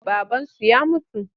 Babansu ya mutu.